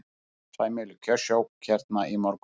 Sæmileg kjörsókn hérna í morgun?